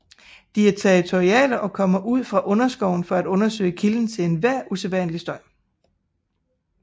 De er territoriale og kommer ud fra underskoven for at undersøge kilden til enhver usædvanlig støj